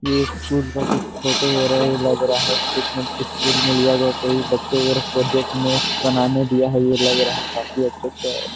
ये कुछ न कुछ फ़ोटो वगैरह लग रहा है। कुछ न कुछ बच्चे वगैरह प्रोजेक्ट में बनाने दिया है। ये लग रहा है काफी अच्छा से --